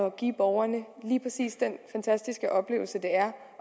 at give borgerne lige præcis den fantastiske oplevelse det er